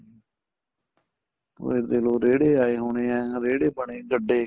ਹੁਣ ਇਹ ਦੇਖ ਲੋ ਰੇੜੇ ਆਏ ਹੋਣੇ ਆ ਰੇੜੇ ਬਣੇ ਗੱਡੇ